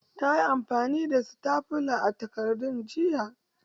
Yayi amfani da sitafula a takardun jiya.